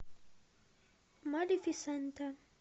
малефисента